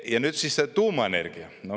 Ja nüüd siis tuumaenergia.